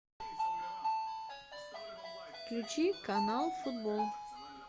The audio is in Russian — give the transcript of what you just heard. включи канал футбол